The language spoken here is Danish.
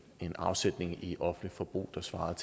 en afsætning i offentligt forbrug der svarede